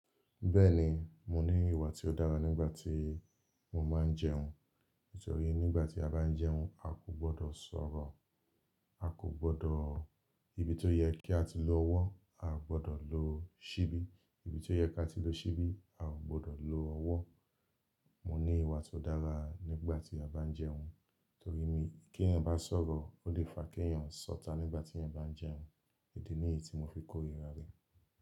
Bẹ́ẹ̀ni, mo ní ìwà tí ó dára nígbà tí mo máa ń jẹun. Torí nígbà tí a bá ń jẹun, a kò gbọdọ̀ sọ̀rọ̀, a kò gbọdọ̀-- ibi tó yẹ kí á ti lo ọwọ́, a gbọdọ̀ lo ṣíbí, ibi tó yẹ kí á ti lo ṣíbí, a ò gbọdọ̀ lo ọwọ́. Mo ní ìwà tó dára nígbà tí a bá ń jẹun. Torí mí kí ẹ̀yan bá sọ̀rọ̀, ó lè fa kí ẹ̀yan sọ́ta nígbà tí ẹ̀yan bá ń jẹun. Idi ní yi tí mo fi kó rira rẹ.